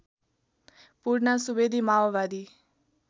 पूर्णा सुवेदी माओवादी